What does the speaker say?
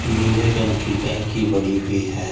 नीले रंग की टंकी बडी हुई है।